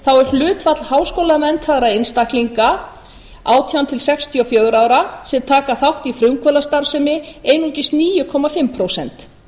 er hlutfall háskólamenntaðra einstaklinga átján til sextíu og fjögurra ára sem taka þátt í frumkvöðlastarfsemi einungis níu og hálft prósent